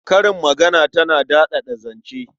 Karin magana tana daɗaɗa zance.